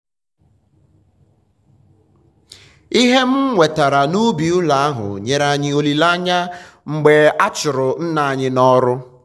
ihe m nwetara n'ubi ụlọ ahụ nyere anyị olileanya mgbe a chụrụ nna anyị n'ọrụ.